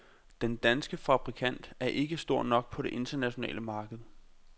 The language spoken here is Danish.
Den danske fabrikant er ikke stor nok på det internationale marked.